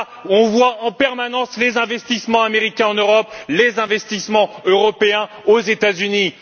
On voit en permanence les investissements américains en Europe et les investissements européens aux États Unis.